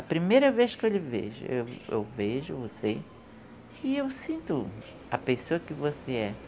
A primeira vez que eu lhe vejo, eu vejo você e eu sinto a pessoa que você é.